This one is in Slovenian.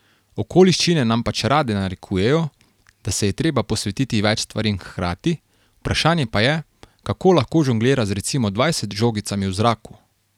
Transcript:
Okoliščine nam pač rade narekujejo, da se je treba posvetiti več stvarem hkrati, vprašanje pa je, kako lahko žonglira z recimo dvajset žogicami v zraku.